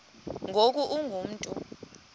ngoku ungu mntu